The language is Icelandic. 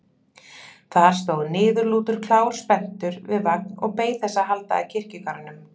Þar stóð niðurlútur klár spenntur við vagn og beið þess að halda að kirkjugarðinum.